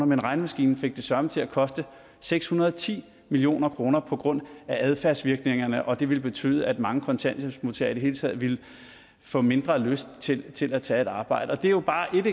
men regnemaskinen fik det søreme til at koste seks hundrede og ti million kroner på grund af adfærdsvirkningerne og det ville betyde at mange kontanthjælpsmodtagere i det hele taget ville få mindre lyst til til at tage et arbejde det er jo bare ét